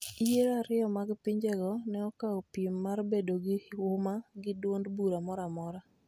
Yiero ariyo mag pinjego ne okawo piem mar bedo gi huma gi duond bura moro amora